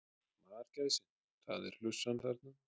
Margæsin það er hlussan þarna.